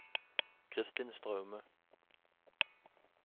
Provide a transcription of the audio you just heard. Christin Straume